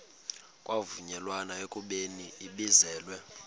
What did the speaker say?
kwavunyelwana ekubeni ibizelwe